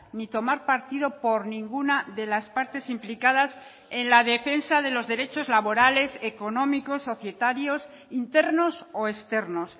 ni tomar partido por ninguna de las partes implicadas en la defensa de los derechos laborales económicos societarios internos o externos